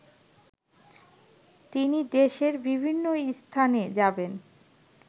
তিনি দেশের বিভিন্ন স্থানে যাবেন